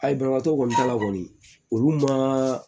Ayi banabaatɔ kɔni t'a la kɔni olu ma